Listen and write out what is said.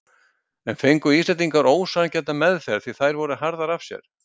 En fengu Íslendingar ósanngjarna meðferð því þær voru harðari af sér?